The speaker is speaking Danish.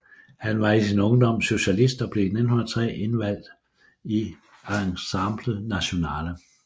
Han var i sin ungdom socialist og blev i 1903 indvalgt i Assemblée Nationale